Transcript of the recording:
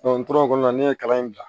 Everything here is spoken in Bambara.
n tora o kɔnɔna na ne ye kalan in bila